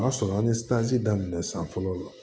O y'a sɔrɔ an ye daminɛ san fɔlɔ